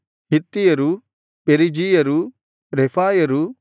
ಹಿತ್ತಿಯರೂ ಪೆರಿಜೀಯರೂ ರೆಫಾಯರೂ